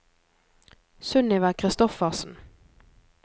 Sunniva Kristoffersen